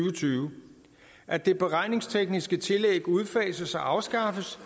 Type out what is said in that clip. og tyve at det beregningstekniske tillæg udfases og afskaffes